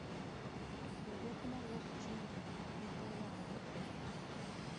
Jorieko ma wuok china pidho waru e dwe